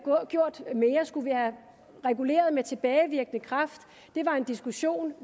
gjort mere skulle vi have reguleret med tilbagevirkende kraft det var en diskussion